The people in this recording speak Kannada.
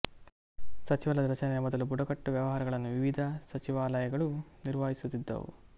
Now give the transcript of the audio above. ಸಚಿವಾಲಯದ ರಚನೆಯ ಮೊದಲು ಬುಡಕಟ್ಟು ವ್ಯವಹಾರಗಳನ್ನು ವಿವಿಧ ಸಚಿವಾಲಯಗಳು ನಿರ್ವಹಿಸುತ್ತಿದ್ದವು